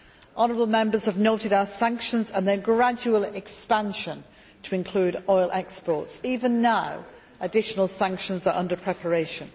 You have noted our sanctions and their gradual expansion to include oil exports even now additional sanctions are under preparation.